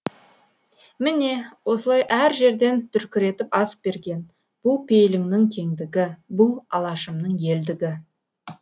міне осылай әр жерден дүркіретіп ас берген бұл пейіліңнің кеңдігі бұл алашымның елдігі